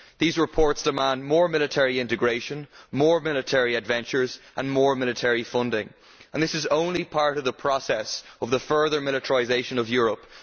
These reports demand more military integration, more military ventures and more military funding, and this is only part of the process of the further militarisation of Europe.